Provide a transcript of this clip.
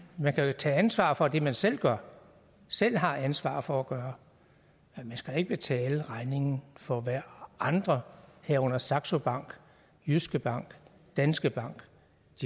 man kan jo tage ansvaret for det man selv gør selv har ansvaret for at gøre men man skal da ikke betale regningen for hvad andre herunder saxo bank jyske bank danske bank